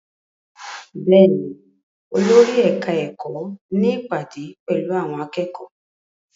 Bẹ́ẹ̀ ni, olórí ẹ̀ka-ẹ̀kọ́ ní ìpàdé pẹ̀lú àwọn akẹ́kọ̀ọ́.